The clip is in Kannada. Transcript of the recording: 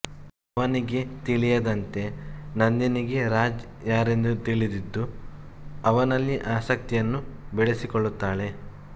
ಅವನಿಗೆ ತಿಳಿಯದಂತೆ ನಂದಿನಿಗೆ ರಾಜ್ ಯಾರೆಂದು ತಿಳಿದಿದ್ದು ಅವನಲ್ಲಿ ಆಸಕ್ತಿಯನ್ನು ಬೆಳೆಸಿಕೊಳ್ಳುತ್ತಾಳೆ